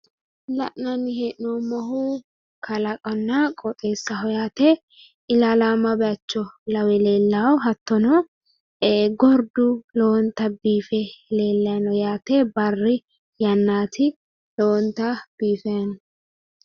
La'nanni hee'noommohu kalaqonna qooxeessaho yaate, ilaallamo bayiicho lawe leellanno, gordu lowonta biife leellay no yaate barri yannaati lowontay biife no